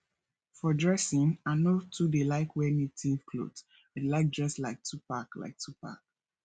for dressing i no too dey like wear native clothes i dey like dress like 2pac like 2pac